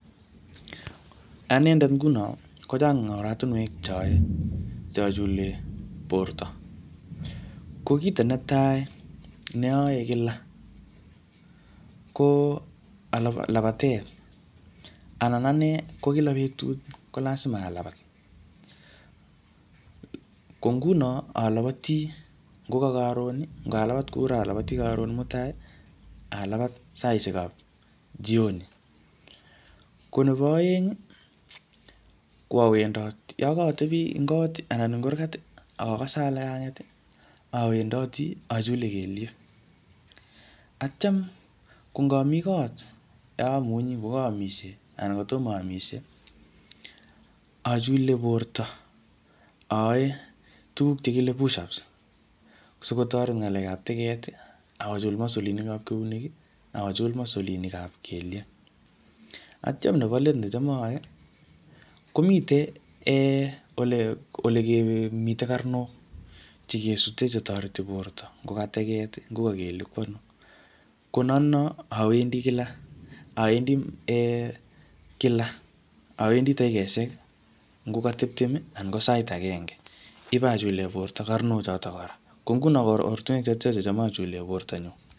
Anendet nguno, kochang oratunwek che ayae che achule borto. Ko kito netai, ne ayae kila, ko labatet. Anan ane ko kila betut, ko lasima alabat. Ko nguno, alabati, ngoka karon, ngalabat ku raa, alabati karon mutai, alabat saishek ab jioni. Ko nebo aeng, ko awendot. Yokotebi eng kot anan kurgat, akakase ale kanget, awendoti, achule kelyek. Atyam ko ngami kot yeamunyi, ngoka aamisie, anan kotomo aamisie, achule borto, ayae tuguk che kile push ups sikotoret ngalek ap teget, akochul masolinik ab keunek, akochul masolinik ab kelyek. Atyam nebo let necham aae, komitei um ole mitei karnok che kesute che toreti borto, ngoka teget, ngoka kelyek, ko ano. Ko notono, awendi kila, awendi um kila, awendi dakikeshek ngo ka tiptem anan ko sait agenge, ipachule borto karnok chotok kora. Ko nguno, ko oratunwek chotocho checham achule borto nyu.